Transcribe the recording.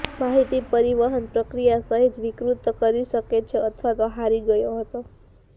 માહિતી પરિવહન પ્રક્રિયા સહેજ વિકૃત કરી શકે છે અથવા તો હારી ગયો હતો